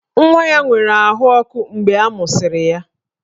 Nwa ya nwere ahụ ọkụ mgbe a mụsịrị ya